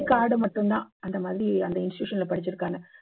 card மட்டும் தான் அந்த மாதிரி அந்த institution ல படிச்சுருக்கான்னு